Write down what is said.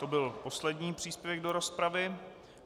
To byl poslední příspěvek do rozpravy.